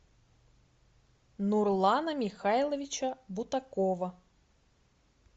нурлана михайловича бутакова